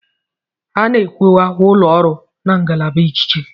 A na-ekewa ụlọ ọrụ na ngalaba ikike.